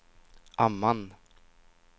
Amman